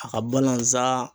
A ka balazan